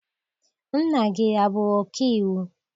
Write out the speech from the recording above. Nna gị abụ ọkaiwu?